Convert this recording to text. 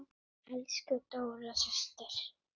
Elsku Dóra systir.